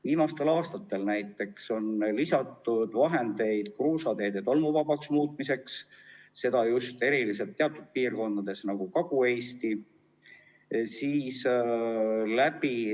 Viimastel aastatel näiteks on lisatud vahendeid kruusateede tolmuvabaks muutmiseks, seda eriti teatud piirkondades, nagu Kagu-Eesti.